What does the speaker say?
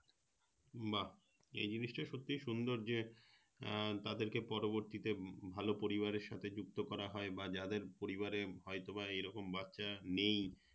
বাহ এই জিনিসটা খুব সুন্দর যে তাদেরকে পরবর্তীতে ভালো পরিবারের সাথে যুক্ত করা হয় বা যাদের পরিবারে হয়ত বা এরকম বাচ্চা নেই